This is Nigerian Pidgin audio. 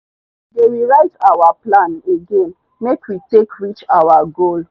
we dey re -write our plan again make we take reach our goal